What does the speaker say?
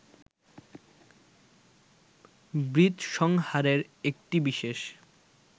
বৃত্রসংহারের একটি বিশেষ